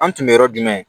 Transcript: An tun bɛ yɔrɔ jumɛn